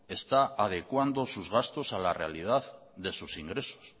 está adecuando sus gastos a la realidad de sus ingresos